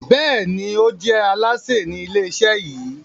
Béèni o je Alásè Ni ilé iṣẹ yí.